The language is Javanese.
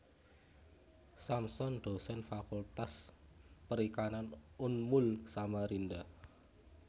Samson Dosen Fakultas Perikanan Unmul Samarinda